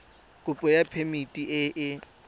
kopo ya phemiti e e